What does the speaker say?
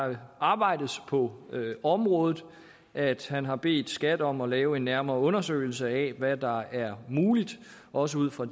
der arbejdes på området og at han har bedt skat om at lave en nærmere undersøgelse af hvad der er muligt også ud fra